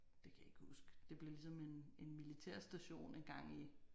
Det kan jeg ikke huske det blev ligesom en en militærstation ligesom en gang i